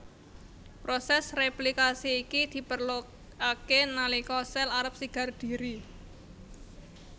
Prosès réplikasi iki diperlokaké nalika sel arep sigar dhiri